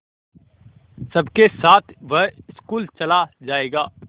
सबके साथ वह स्कूल चला जायेगा